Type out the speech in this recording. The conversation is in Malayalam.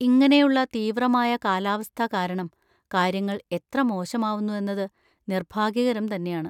ഇങ്ങനെയുള്ള തീവ്രമായ കാലാവസ്ഥ കാരണം കാര്യങ്ങൾ എത്ര മോശമാവുന്നു എന്നത് നിർഭാഗ്യകരം തന്നെയാണ്.